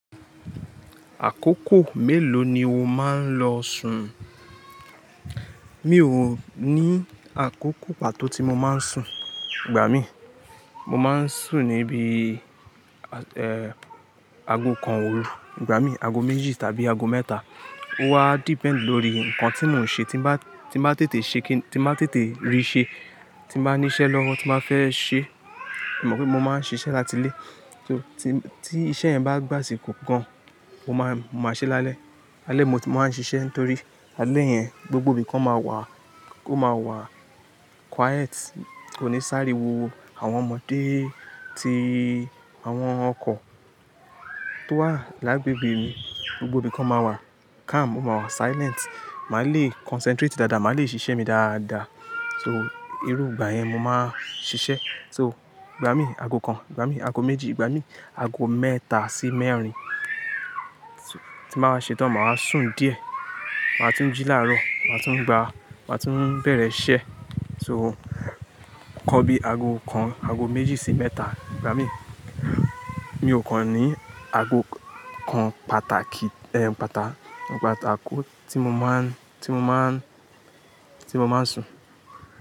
Àkókò mélòó ni o máa ń lọ sun? Mi ò ní àkókò pàtó tí mo máa ń sun, gbà mí. Mo máa ń sùn níbi, eh, ago kan òru, igba mí, ago méjì tàbí ago mẹ́ta. Ó wa depend lórí nǹkan tí mò ń ṣe, tí bá, tí bá tètè ṣe kín, tí bá tètè rí ṣe, tí bá ní iṣẹ́ lọ́wọ́ tí máa fẹ́ ṣe. Mo mọ̀ pé mo máa ń ṣiṣẹ́ láti ilé, so tí, tí iṣẹ́ yẹn bá gbà asiko gan, mo máa, mo máa ṣẹ́ lálẹ́. Ale mo ti máa ń ṣiṣẹ́ nítorí ale yẹn gbogbo ibi kan máa wà, ó máa wà quiet, kò ní sàrí wo àwọn ọmọdé tí àwọn ọkọ tó wà lágbègbè mi, gbogbo ibi kan máa wà calm, ó máa wà silent. Màá le concentrate dáadáa, màá le ṣiṣẹ́ mi dáadáa. So, irú ìgbà yẹn mo máa ń ṣiṣẹ́. So, igba mí ago kan, igba mí ago méjì, igba mí ago mẹ́ta sí mẹ́rin. So, tí mà wa ṣe tán, màá sùn díẹ̀. Màá tún jí láàárọ̀, màá tún gba, màá tún bẹ̀rẹ̀ iṣẹ́. So, kan bí ago kan, ago méjì sí mẹ́ta, igbà mí. Mi ò kan ní ago kan pàtàkì, ẹ, pàtà, pàtàkò tí mo máa ń, tí mo máa ń, tí mo máa ń sun.